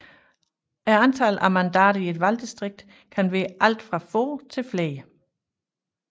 Antallet af mandater i et valgdistrikt kan være alt fra få til flere